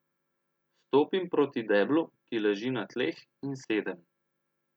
Stopim proti deblu, ki leži na tleh, in sedem.